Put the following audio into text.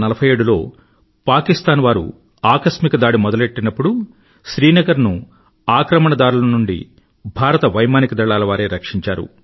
1947 లో పాకిస్తాన్ వారు ఆకస్మిక దాడి మొదలుపెట్టినప్పుడు శ్రీనగర్ ను ఆక్రమణదారుల నుండి భారత వైమానిక దళాలవారే రక్షించారు